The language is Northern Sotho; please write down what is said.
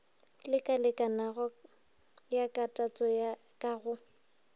lakalekanago ya kalatšo ka go